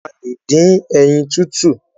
A lẹ̀ dín ẹyin tútù.